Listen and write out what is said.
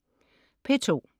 P2: